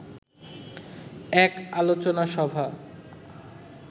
এক আলোচনা সভা